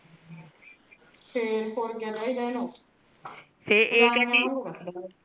ਫੇਰ ਹੋਰ ਕੀਆ ਚਾਹੀਦਾ ਇੱਹਨੁ ।